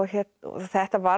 þetta varð